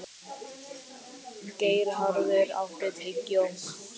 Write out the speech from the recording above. Geirharður, áttu tyggjó?